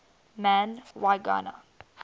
man y gana